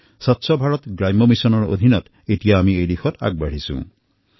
স্বচ্ছ ভাৰত অভিযান গ্ৰামীণৰ অন্তৰ্গত এতিয়া এই দিশত আমি আগবাঢ়ি আছোঁ